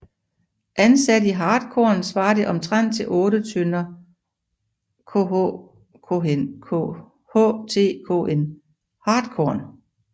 Ansat i hartkorn svarer det omtrent til 8 tønder htkn